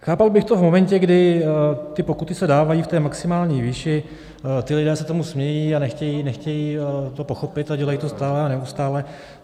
Chápal bych to v momentě, kdy ty pokuty se dávají v té maximální výši, ti lidé se tomu smějí a nechtějí to pochopit a dělají to stále a neustále.